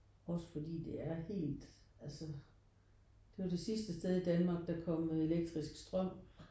Også fordi det er helt altså det er jo det sidste sted i Danmark der kom elektrisk strøm